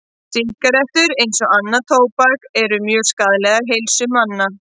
Sígarettur, eins og annað tóbak, eru mjög skaðlegar heilsu manna.